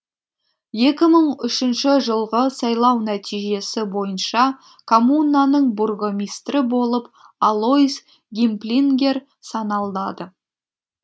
екі мың үшінші жылғы сайлау нәтижесі бойынша коммунаның бургомистрі болып алойс гимплингер саналады